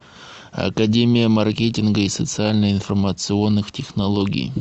академия маркетинга и социально информационных технологий